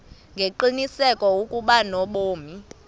ngengqiniseko ukuba unobomi